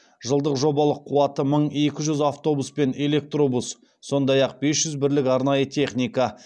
жылдық жобалық қуаты мың екі жүз автобус пен электробус сондай ақ бес жүз бірлік арнайы техника